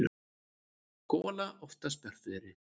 gola oftast bjartviðri.